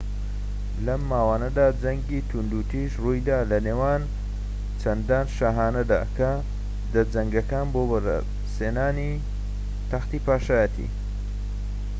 لەم ماوانەدا جەنگی توندوتیژ ڕوویدا لە نێوان چەندان شاهانەدا کە دەجەنگان بۆ بەدەستهێنانی تەختی پادشایەتی